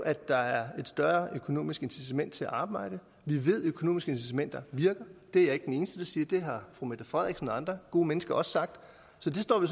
at der er et større økonomisk incitament til at arbejde vi ved at økonomiske incitamenter virker det er jeg ikke den eneste der siger det har fru mette frederiksen og andre gode mennesker også sagt så det står vi